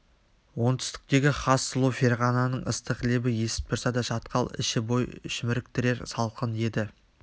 оңтүстіктегі хас сұлу ферғананың ыстық лебі есіп тұрса да шатқал іші бой шіміріктірер салқын еді